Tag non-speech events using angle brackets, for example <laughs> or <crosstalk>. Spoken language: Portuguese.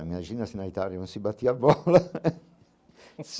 Imagina se na Itália não se batia bola. <laughs>